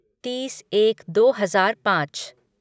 तीस एक दो हजार पाँच